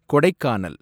Kodaikanal